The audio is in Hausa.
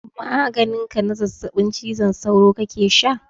Maganin ka na zazzaɓin cizon sauro kake sha?